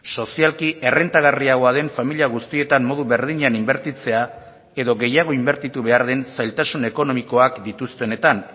sozialki errentagarriagoa den familia guztietan modu berdinean inbertitzea edo gehiago inbertitu behar den zailtasun ekonomikoak dituztenetan